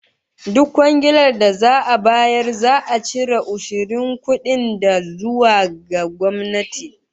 Duk kwangiilar da za'a bayar za'a cire ushirin kudin ta zuwa ga gwamnati